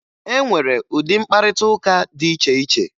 E nwere ụdị mkparịtaụka dị iche iche